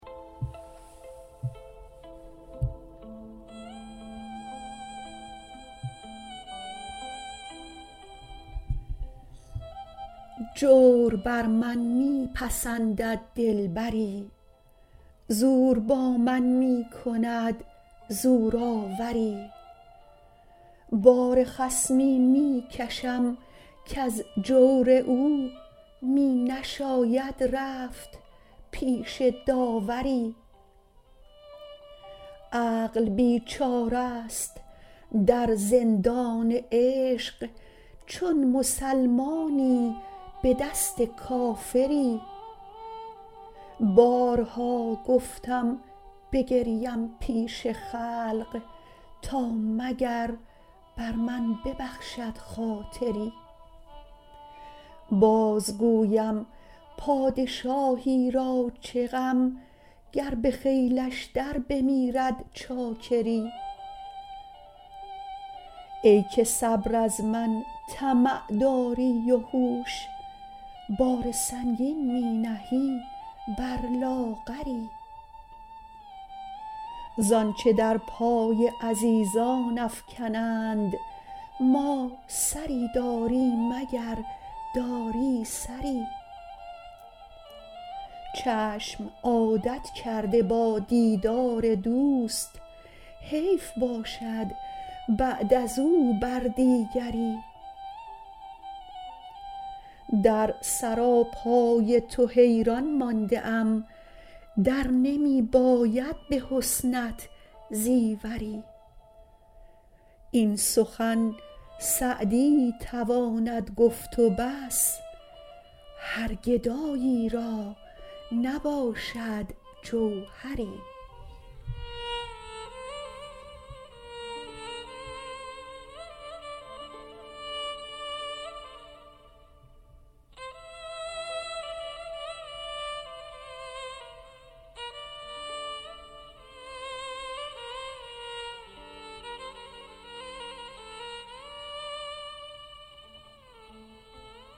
جور بر من می پسندد دلبری زور با من می کند زورآوری بار خصمی می کشم کز جور او می نشاید رفت پیش داوری عقل بیچاره ست در زندان عشق چون مسلمانی به دست کافری بارها گفتم بگریم پیش خلق تا مگر بر من ببخشد خاطری باز گویم پادشاهی را چه غم گر به خیلش در بمیرد چاکری ای که صبر از من طمع داری و هوش بار سنگین می نهی بر لاغری زآنچه در پای عزیزان افکنند ما سری داریم اگر داری سری چشم عادت کرده با دیدار دوست حیف باشد بعد از او بر دیگری در سراپای تو حیران مانده ام در نمی باید به حسنت زیوری این سخن سعدی تواند گفت و بس هر گدایی را نباشد جوهری